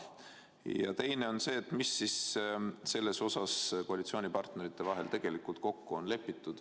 Ja teiseks: mis siis selles osas koalitsioonipartnerite vahel kokku on lepitud?